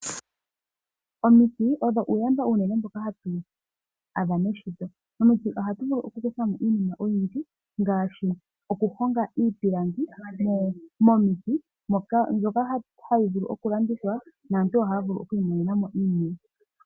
Omiti odho uuyamba uunene mboka hatu adha muushitwe, momiti ohatu vulu okukuthamo iinima oyindji ngaashi okuhonga iipilangi momiti mbyoka hayi vulu okulandithwa naantu ohaya vulu oku imonenamo iimaliwa.